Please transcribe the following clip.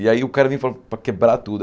E aí o cara vem falando para quebrar tudo.